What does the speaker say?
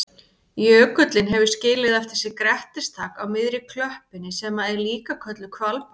Jökullinn hefur skilið eftir sig grettistak á miðri klöppinni sem er líka kölluð hvalbak.